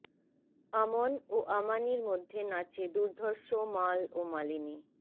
আমন ও আমানির মধ্যে নাচে দুর্ধর্ষ মাল ও মালিনী